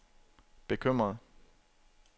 bekymret